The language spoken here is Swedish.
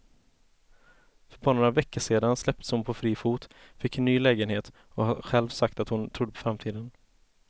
För bara några veckor sedan släpptes hon på fri fot, fick en ny lägenhet och har själv sagt att hon trodde på framtiden.